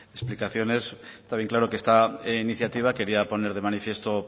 explicaciones están bien claro que esta iniciativa quería poner de manifiesto